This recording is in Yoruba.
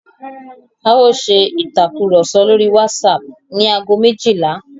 A ó ṣe ìtàkurọ̀sọ lórí WhatsApp ní ago méjìlá.